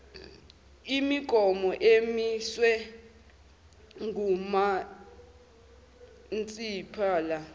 imigomo emiswe ngumasipala